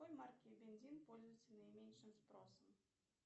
какой марки бензин пользуется наименьшим спросом